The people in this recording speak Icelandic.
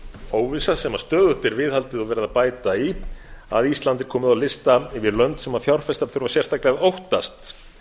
óvissa sem stöðugt er viðhaldið og verið að bæta í að ísland er komið á lista yfir lönd sem fjárfestar þurfa sérstaklega að óttast